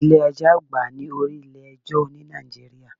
Ilé ẹjọ́ àgbà ni orí ilé ẹjọ́ ní Nàìjíríà.